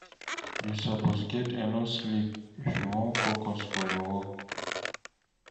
You suppose get enough sleep if you wan focus for your work.